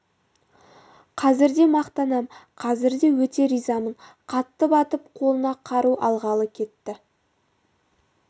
қазір де мақтанам қазір де өте ризамын қатты батып қолына қару алғалы кетті